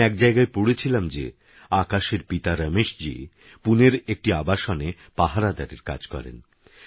আমিএকজায়গায়পড়েছিলামযেআকাশেরপিতারমেশজীপুনেরএকটিআবাসনেপাহারাদারেরকাজকরেন